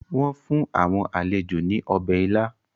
Wọ́n fún àwọn àlejò ní ọbẹ̀ ila.